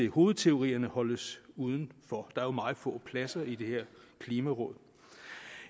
hovedteorierne holdes udenfor der er jo meget få pladser i det her klimaråd